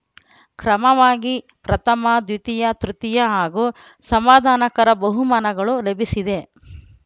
ಕ್ರಮವಾಗಿ ಪ್ರಥಮದ್ವಿತೀಯ ತೃತೀಯ ಹಾಗೂ ಸಮಾಧಾನಕರ ಬಹುಮಾನಗಳು ಲಭಿಸಿದೆ